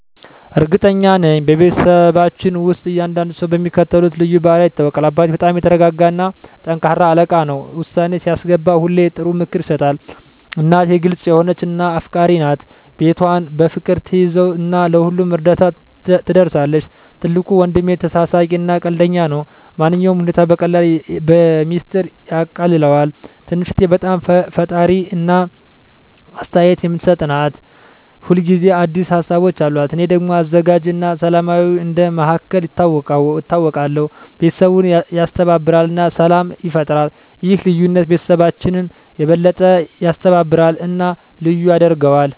እርግጠኛ ነኝ፤ በቤተሰባችን ውስጥ እያንዳንዱ ሰው በሚከተሉት ልዩ ባህሪያት ይታወቃል - አባቴ በጣም የተረጋጋ እና ጠንካራ አለቃ ነው። ውሳኔ ሲያስገባ ሁሌ ጥሩ ምክር ይሰጣል። እናቴ ግልጽ የሆነች እና አፍቃሪች ናት። ቤቷን በፍቅር ትያዘው እና ለሁሉም እርዳታ ትደርሳለች። ትልቁ ወንድሜ ተሳሳቂ እና ቀልደኛ ነው። ማንኛውንም ሁኔታ በቀላሉ በሚስጥር ያቃልለዋል። ትንሽ እህቴ በጣም ፈጣሪ እና አስተያየት የምትሰጥ ናት። ሁል ጊዜ አዲስ ሀሳቦች አሉት። እኔ ደግሞ አዘጋጅ እና ሰላማዊ እንደ መሃከል ይታወቃለሁ። ቤተሰቡን ያስተባብራል እና ሰላም ይፈጥራል። ይህ ልዩነት ቤተሰባችንን የበለጠ ያስተባብራል እና ልዩ ያደርገዋል።